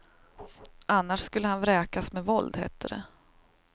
Annars skulle han vräkas med våld, hette det.